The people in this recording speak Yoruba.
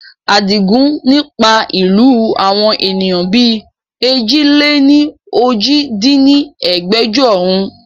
Adigun ni pa ìlú àwọn ènìyàn bí èjì-lé-ní-ojì dín ní ẹgbẹ́jọ run